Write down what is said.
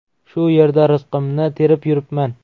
Shu yerda rizqimni terib yuribman.